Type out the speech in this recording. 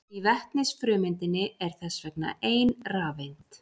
Í vetnisfrumeindinni er þess vegna ein rafeind.